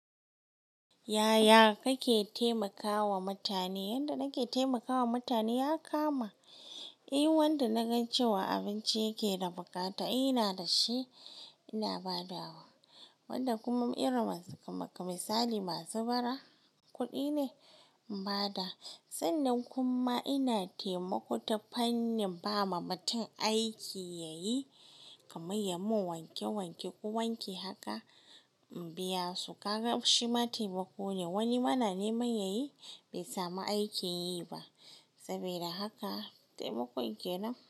Yaya kake taimakawa mutane? Yadda nake taimaka wa mutane ya kama. In wanda na ga cewa abinci yake da bukata in ina da shi ina ba da wa. Wanda kuma irin masu kaman misali masu bara kudi ne in ba da. Sannan kuma ina taimako ta fannin ba ma mutum aiki ya yi, kamar ya mun wanke wanke ko wanki haka in biya su. Ka gan shi ma taimako ne. Wani ma na neman ya yi bai samu aikin yi ba. Saboda haka taimakon kenan.